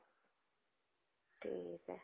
ठीक आहे.